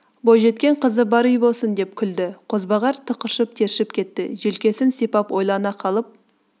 бойжеткен қызы бар үй болсын деп күлді қозбағар тықыршып тершіп кетті желкесін сипап ойлана қалып